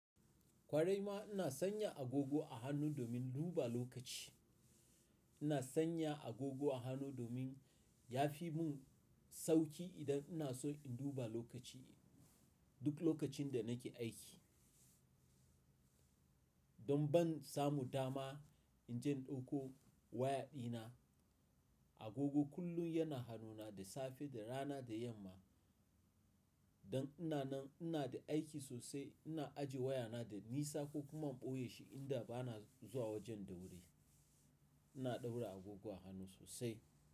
Kwarai ma ina sanya agogo a hannu domin duba lokaci. Ina sanya agogo a hannu domin ya fi mun sauki idan ina so in duba lokaci, duk lokacin da nake aiki. Don ban samu dama inje in dauko waya dina. Agogo kullum yana hanuna da safe, da rana da yamma. Don ina nan ina da aiki sosai ina ajiye wayana da nisa ko kuma in boye shi inda bana zuwa wajen da wuri. Ina ɗaura agogo a hannu sosai.